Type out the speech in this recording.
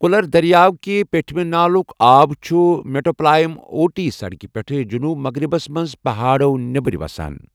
colour دریاو کہِ پٮ۪ٹھ مہِ نالُک آب چھُ میٹوپلائم اوٹی سڑکہِ پٮ۪ٹھ جنوب مغرِبَس منٛز پہاڑو نٮ۪بٕرۍ وَسان